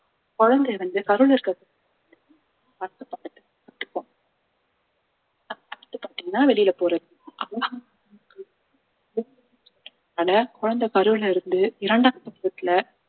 குழந்தை வந்து கருவுல இருக்கிறது பாத்தீங்கன்னா வெளியில போறதுக்கு குழந்தை கருவுல இருந்து இரண்டாம்